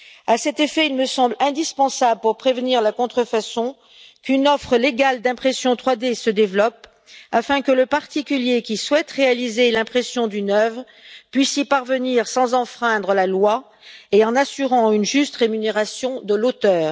À cet effet, il me semble indispensable pour prévenir la contrefaçon qu'une offre légale d'impression 3D se développe afin que le particulier qui souhaite réaliser l'impression d'une œuvre puisse y parvenir sans enfreindre la loi et en assurant une juste rémunération de l'auteur.